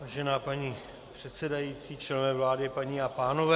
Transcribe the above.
Vážená paní předsedající, členové vlády, paní a pánové.